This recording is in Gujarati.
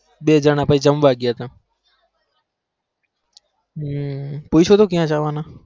બે જાના જમવા ગયા તા પૂછી તું કયા જવા ના